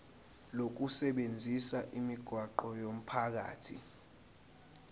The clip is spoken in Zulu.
lokusebenzisa imigwaqo yomphakathi